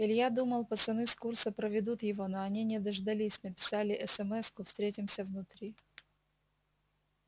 илья думал пацаны с курса проведут его но они не дождались написали смску встретимся внутри